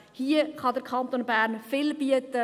Hier kann der Kanton Bern viel bieten.